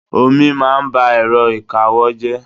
Omi máa ń ba èrọ ìkawó jẹ́.